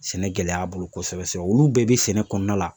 Sɛnɛ gɛlɛya a bolo kosɛbɛ sɛbɛ. Olu bɛɛ bɛ sɛnɛ kɔnɔna la.